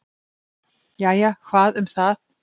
"""Jæja, hvað um það."""